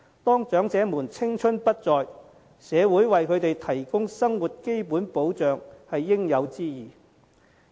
當長者青春不再，社會為他們提供生活基本保障是應有之義。